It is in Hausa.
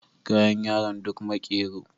Kayan yaron duk makero